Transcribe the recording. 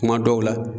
Kuma dɔw la